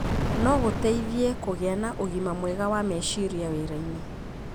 no gũteithie kũgĩa na ũgima mwega wa meciria wĩra-inĩ.